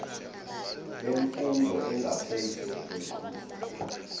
bemfundo engaphezulu kweqhuzu